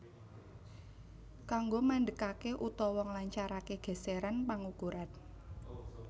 Kanggo mandekaké utawa nglancaraké gèsèran pangukuran